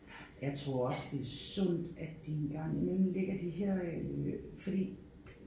Jeg tror også det er sundt at de engang imellem lægger de her øh fordi